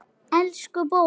Elsku bók!